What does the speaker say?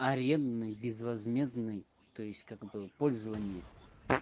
арендный безвозмездный то есть как бы в пользование